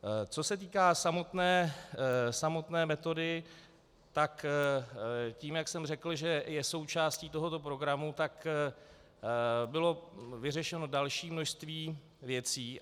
Co se týká samotné metody, tak tím, jak jsem řekl, že je součástí tohoto programu, tak bylo vyřešeno další množství věcí.